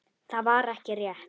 Það var ekki rétt.